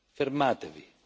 Fermatevi!